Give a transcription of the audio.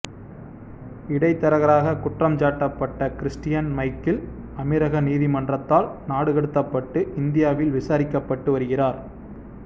இடைத்தரகராகக் குற்றஞ்சாட்டப்பட்ட Christian Michel அமீரக நீதிமன்றத்தால் நாடுகடத்தப்பட்டு இந்தியாவில் விசாரிக்கப்பட்டு வருகிறார்